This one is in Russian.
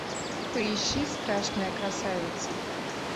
поищи страшная красавица